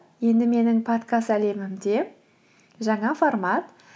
енді менің подкаст әлемімде жаңа формат